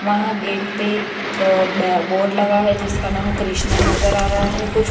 वहां गेट पे एक अह बोर्ड लगा है जिसका नाम कृष्णा नजर आ रहा है कुछ --